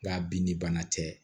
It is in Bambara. Nga bin ni bana tɛ